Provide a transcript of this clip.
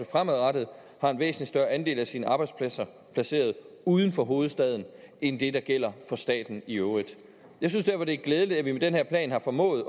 fremadrettet har en væsentlig større andel af sine arbejdspladser placeret uden for hovedstaden end det der gælder for staten i øvrigt jeg synes derfor det er glædeligt at vi med den her plan har formået